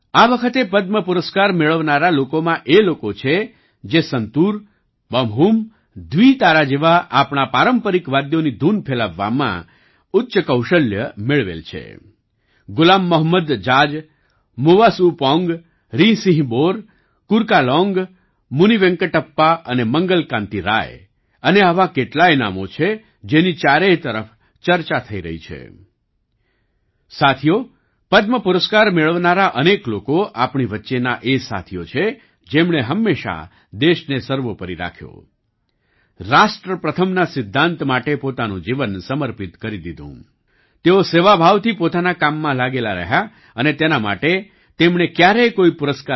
આ વખતે પદ્મ પુરસ્કાર મેળવનારા લોકોમાં એ લોકો છે જે સંતૂર